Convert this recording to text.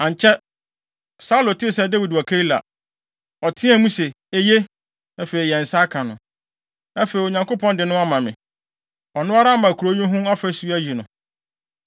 Ankyɛ, Saulo tee sɛ Dawid wɔ Keila. Ɔteɛɛ mu se, “Eye. Afei, yɛn nsa aka no. Afei, Onyankopɔn de no ama me. Ɔno ara ama kurow yi ho afasu ayi no!”